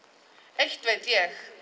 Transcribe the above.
eitt veit ég